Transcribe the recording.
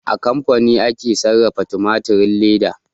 A kamfani ake sarrafa tumatirin leda